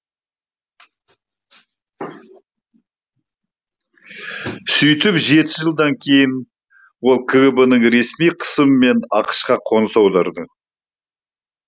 сөйтіп жеті жылдан кейін ол кгб нің ресми қысымымен ақш қа қоныс аударады